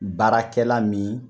Baarakɛla min